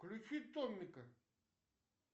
включи томмика